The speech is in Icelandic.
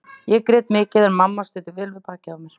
Ég grét mikið en mamma studdi vel við bakið á mér.